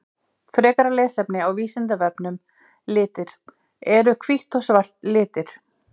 Frekara lesefni á Vísindavefnum Litir Eru hvítt og svart litir?